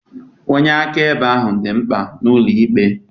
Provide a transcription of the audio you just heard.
Onye akaebe dị mkpa n'ụlọikpe.